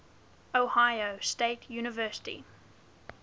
ohio state university